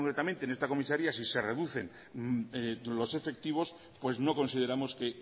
concretamente en esta comisaría si se reducen los efectivos pues no consideramos que